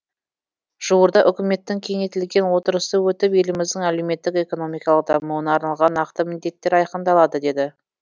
жуырда үкіметтің кеңейтілген отырысы өтіп еліміздің әлеуметтік экономикалық дамуына арналған нақты міндеттер айқындалады деді